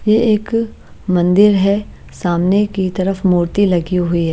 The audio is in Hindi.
ये एक मंदिर है सामने की तरफ मूर्ति लगी हुई है।